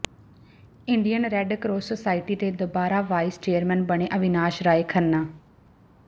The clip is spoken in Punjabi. ਇੰਡੀਅਨ ਰੈੱਡ ਕਰਾਸ ਸੋਸਾਇਟੀ ਦੇ ਦੁਬਾਰਾ ਵਾਈਸ ਚੇਅਰਮੈਨ ਬਣੇ ਅਵਿਨਾਸ਼ ਰਾਏ ਖੰਨਾ